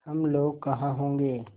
हम लोग कहाँ होंगे